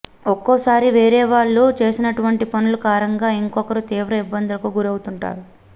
ఒక్కోసారి వేరే వాళ్ళు చేసినటువంటి పనుల కారణంగా ఇంకొకరు తీవ్ర ఇబ్బందులకు గురవుతుంటారు